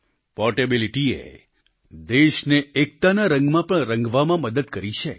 portability એ દેશને એકતાના રંગમાં રંગવામાં પણ મદદ કરી છે